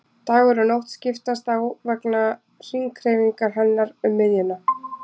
Dagur og nótt skiptast á vegna hringhreyfingar hennar um miðjuna.